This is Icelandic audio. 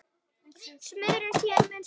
Sumrin séu mun skárri tími.